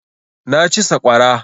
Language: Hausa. Na ci saƙwara